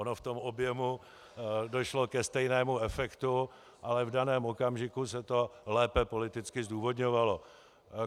Ono v tom objemu došlo ke stejnému efektu, ale v daném okamžiku se to lépe politicky zdůvodňovalo.